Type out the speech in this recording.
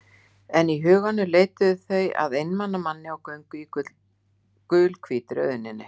En í huganum leituðu þau að einmana manni á göngu í gulhvítri auðninni.